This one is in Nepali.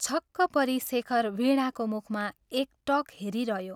छक्क परी शेखर वीणाको मुखमा एकटक हेरिरह्यो।